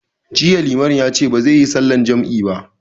Jiya limamin ya ce bazai yi sallar jam'i ba